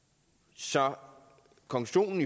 så konklusionen